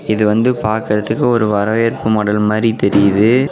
இது வந்து பாக்கறதுக்கு ஒரு வரவேற்பு மடல் மாறி தெரியுது.